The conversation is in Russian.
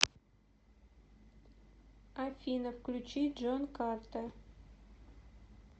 афина включить джон картер